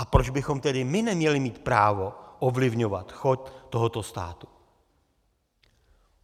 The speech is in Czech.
A proč bychom tedy my neměli mít právo ovlivňovat chod tohoto státu?